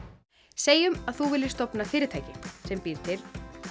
segjum að þú viljir stofna fyrirtæki sem býr til